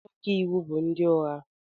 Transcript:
Ndị ọka iwu bụ ndị ụgha